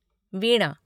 वीणा